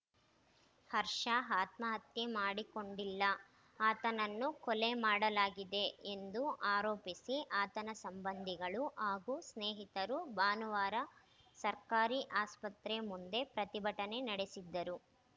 ಹರ್ಷ ಆತ್ಮಹತ್ಯೆ ಮಾಡಿಕೊಂಡಿಲ್ಲ ಆತನನ್ನು ಕೊಲೆ ಮಾಡಲಾಗಿದೆ ಎಂದು ಆರೋಪಿಸಿ ಆತನ ಸಂಬಂಧಿಗಳು ಹಾಗೂ ಸ್ನೇಹಿತರು ಭಾನುವಾರ ಸರ್ಕಾರಿ ಆಸ್ಪತ್ರೆ ಮುಂದೆ ಪ್ರತಿಭಟನೆ ನಡೆಸಿದ್ದರು